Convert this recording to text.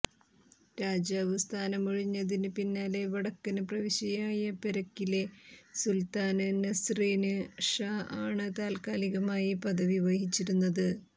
രാജാവ് സ്ഥാനമൊഴിഞ്ഞതിന് പിന്നാലെ വടക്കന് പ്രവിശ്യയായ പെരക്കിലെ സുല്ത്താന് നസ്റിന് ഷാ ആണ് താല്ക്കാലികമായി പദവി വഹിച്ചിരുന്നത്